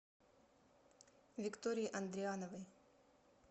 виктории андриановой